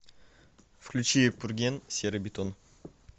включи пурген серый бетон